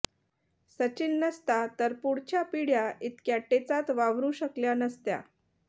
सचिन नसता तर पुढच्या पिढ्या इतक्या टेचात वावरू शकल्या नसत्या